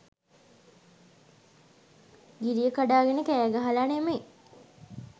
ගිරිය කඩාගෙන කෑගහලා නෙමෙයි.